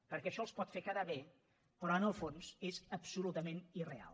perquè això els pot fer quedar bé però en el fons és absolutament irreal